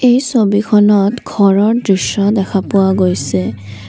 এই ছবিখনত ঘৰৰ দৃশ্য দেখা পোৱা গৈছে।